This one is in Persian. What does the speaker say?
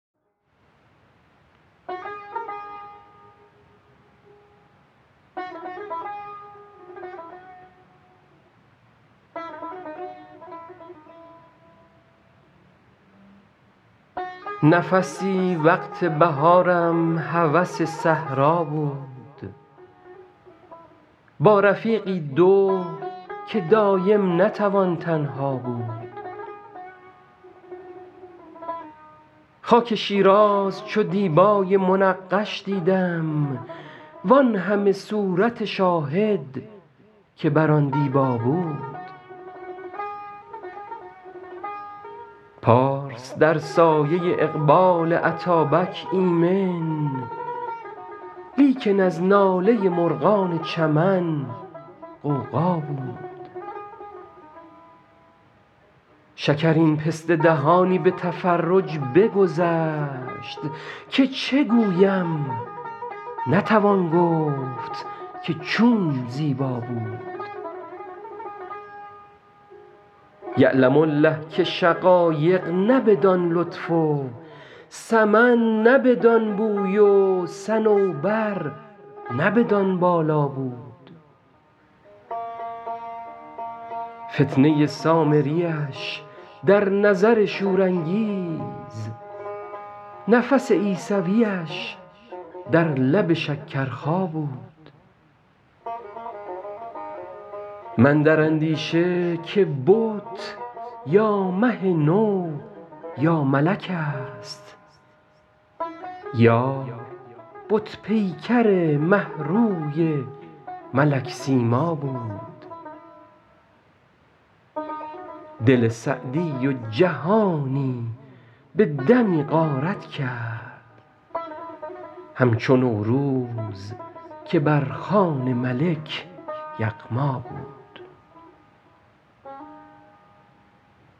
نفسی وقت بهارم هوس صحرا بود با رفیقی دو که دایم نتوان تنها بود خاک شیراز چو دیبای منقش دیدم وان همه صورت شاهد که بر آن دیبا بود پارس در سایه اقبال اتابک ایمن لیکن از ناله مرغان چمن غوغا بود شکرین پسته دهانی به تفرج بگذشت که چه گویم نتوان گفت که چون زیبا بود یعلم الله که شقایق نه بدان لطف و سمن نه بدان بوی و صنوبر نه بدان بالا بود فتنه سامریش در نظر شورانگیز نفس عیسویش در لب شکرخا بود من در اندیشه که بت یا مه نو یا ملک ست یار بت پیکر مه روی ملک سیما بود دل سعدی و جهانی به دمی غارت کرد همچو نوروز که بر خوان ملک یغما بود